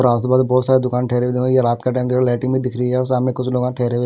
पूरा आस पास बहोत सारे दुकान ये रात का टाइम हैं लाइटिंग भी दिख रही है और सामने कुछ लोगां ठहरे हुए--